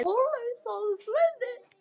En kannski líka genin.